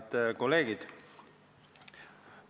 Head kolleegid!